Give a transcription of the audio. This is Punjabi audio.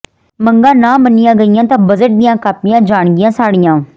ਮੰਗਾਂ ਨਾ ਮੰਨੀਆਂ ਗਈਆਂ ਤਾਂ ਬਜਟ ਦੀਆਂ ਕਾਪੀਆਂ ਜਾਣਗੀਆਂ ਸਾੜੀਆਂ